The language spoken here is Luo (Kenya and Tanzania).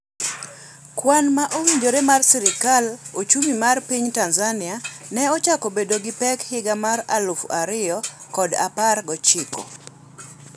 Kwan ma owinjore mar sirkal: Ochumi mar piny Tanzania ne ochako bedo gipek higa mar aluf ariyo kod apar gi ochiko